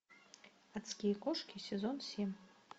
адские кошки сезон семь